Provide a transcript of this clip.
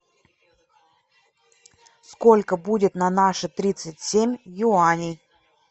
сколько будет на наши тридцать семь юаней